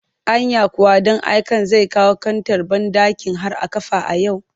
Anya kuwa ɗan aiken zai kawo kantar banɗakin har a kafa a yau